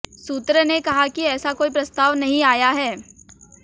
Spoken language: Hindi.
सूत्र ने कहा कि ऐसा कोई प्रस्ताव नहीं आया है